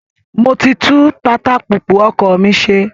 Mo ti tún tatapùpù ọkọ̀ mi ṣe